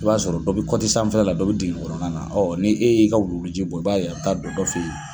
I b'a sɔrɔ dɔ bɛ kɔti sanfɛla la dɔ bɛ dingɛ kɔnɔna na, ni e y'i ka wuluwuluji bɔ, i b'a ye i bɛ taa don dɔ fɛ yen.